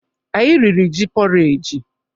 Anyị riri ji pọreji.